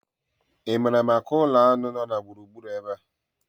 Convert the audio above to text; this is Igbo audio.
Ị maara maka ụlọ aṅụ nọ na gburugburu ebe a?